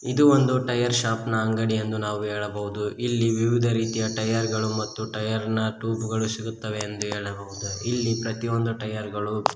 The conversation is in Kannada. ಇದು ಒಂದು ಟೈರ್ ಶಾಪ್ ನ ಅಂಗಡಿ ಎಂದು ನಾವು ಹೇಳಬಹುದು ಇಲ್ಲಿ ವಿವಿಧ ರೀತಿಯ ಟೈರ್ ಗಳು ಮತ್ತು ಟೈರ್ ನ ಟ್ಯೂಬ್ ಗಳು ಸಿಗುತ್ತವೆ ಎಂದು ಹೇಳಬಹುದು ಇಲ್ಲಿ ಪ್ರತಿಯೊಂದು ಟೈರ್ ಗಳು--